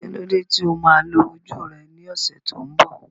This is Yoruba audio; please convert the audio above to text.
Kí ló dé tí o máa lo ojú rẹ ní ọ̀sẹ̀ tó ń bọ̀?